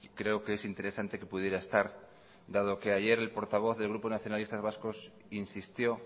creo que es interesante que pudiera estar dado que ayer el portavoz del grupo nacionalistas vascos insistió